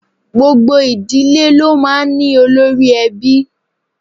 Gbogbo ìdílé lo máa ń ní olórí-ẹbí